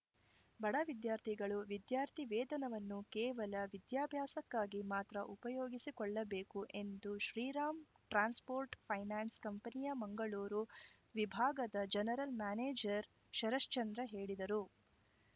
ಬಡ ವಿದ್ಯಾರ್ಥಿಗಳು ವಿದ್ಯಾರ್ಥಿ ವೇತನವನ್ನು ಕೇವಲ ವಿದ್ಯಾಭ್ಯಾಸಕ್ಕಾಗಿ ಮಾತ್ರ ಉಪಯೋಗಿಸಿಕೊಳ್ಳಬೇಕು ಎಂದು ಶ್ರೀರಾಮ್‌ ಟ್ರಾನ್ಸ್‌ಫೋರ್ಟ್‌ ಫೈನಾನ್ಸ್‌ ಕಂಪನಿಯ ಮಂಗಳೂರು ವಿಭಾಗದ ಜನರಲ್‌ ಮ್ಯಾನೇಜರ್‌ ಶರಶ್ಚಂದ್ರ ಹೇಳಿದರು